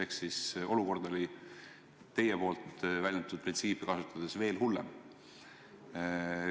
Ehk siis olukord oli teie nimetatud printsiipidest lähtudes veel hullem.